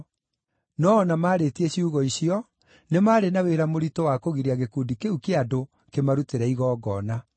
No o na maarĩtie ciugo icio, nĩ maarĩ na wĩra mũritũ wa kũgiria gĩkundi kĩu kĩa andũ kĩmarutĩre igongona.